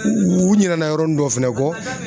U ɲina na yɔrɔnin dɔ fɛnɛ kɔ.